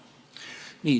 Nii.